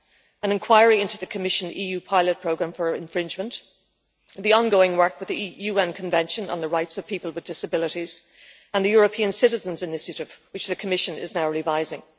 an inquiry into the Commission EU pilot programme for infringement, the ongoing work with the UN Convention on the Rights of Persons with Disabilities and the European Citizens' Initiative, which the Commission is now revising.